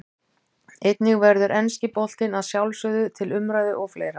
Einnig verður enski boltinn að sjálfsögðu til umræðu og fleira.